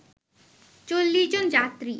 ৪০ জন যাত্রী